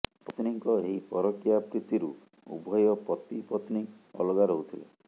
ପତ୍ନୀଙ୍କ ଏହି ପରକୀୟା ପ୍ରୀତିରୁ ଉଭୟ ପତିପତ୍ନୀ ଅଲଗା ରହୁଥିଲେ